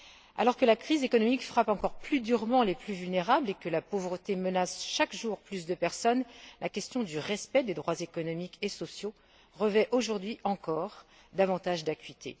Alors que la crise économique frappe encore plus durement les plus vulnérables et que la pauvreté menace chaque jour plus de personnes, la question du respect des droits économiques et sociaux revêt aujourd'hui encore davantage d'acuité.